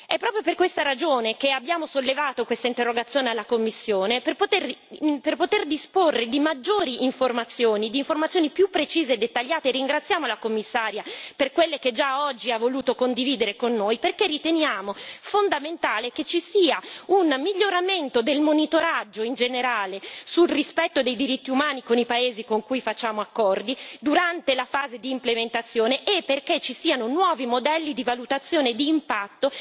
È proprio per tale ragione che abbiamo formulato questa interrogazione alla Commissione per poter disporre di maggiori informazioni, di informazioni più precise e dettagliate e ringraziamo la Commissaria, per quelle che già oggi ha voluto condividere con noi, perché riteniamo fondamentale che ci sia un miglioramento del monitoraggio, in generale, del rispetto dei diritti umani con i paesi con cui sigliamo accordi, durante la fase di implementazione e perché ci siano nuovi modelli di valutazione d'impatto,